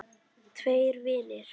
Tveir vinir